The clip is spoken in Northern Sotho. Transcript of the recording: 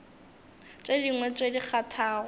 tše dingwe tše di kgathago